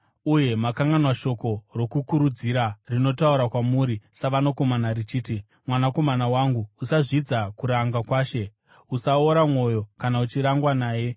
Uye makanganwa shoko rokukurudzira rinotaura kwamuri savanakomana richiti: “Mwanakomana wangu, usazvidza kuranga kwaShe, uye usaora mwoyo kana uchirangwa naye,